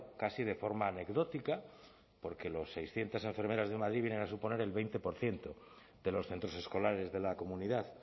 casi de forma anecdótica porque las seiscientos enfermeras de madrid vienen a suponer el veinte por ciento de los centros escolares de la comunidad